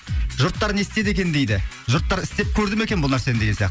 жұрттар не істеді екен дейді жұрттар істеп көрді ме екен бұл нәрсені деген сияқты